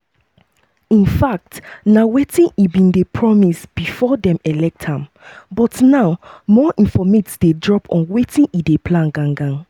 infact na wetin e bin dey promise bifor dem elect am but now more informate dey drop on wetin e dey plan gan-gan.